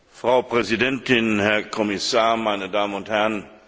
Frau Präsidentin, Herr Kommissar, meine Damen und Herren!